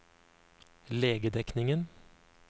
legedekningen